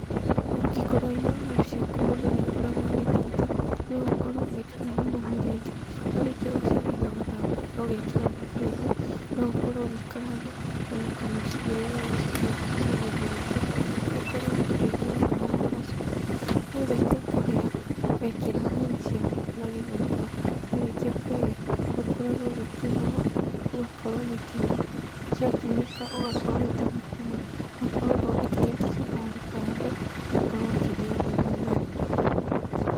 Ũngĩkorwo wĩna waru ciaku mũndũ nĩakoragwo agĩthitha, no ũkorwo ũgĩtukania na mũrenge. Warĩkia gũcithitha ũgacithambia wega ũgekĩra thaburiainĩ, no ũkorwo ũgĩkaranga ona kana ũciigĩrĩre ũguo cikorwo cirĩ cia gũtherũkio ũkorwo ũgĩkĩra maaĩ na gacumbĩ. Ciarĩkia kũhĩa wekĩra nyeni ciaku na gĩtheri ho ciarĩkia kũhĩa nĩũkoragwo ũgĩkima ũũ. Ũgakorwo ũgĩkima ciakimĩka ũgakorwo ũrĩ ta mũkimo no ũkorwo ũthondekeire kachumbari kando ũkorwo ũkĩrĩyanĩria naguo.